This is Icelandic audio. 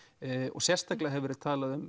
og sérstaklega hefur verið talað um